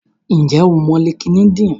Ǹjẹ́ o mọ Linkedin?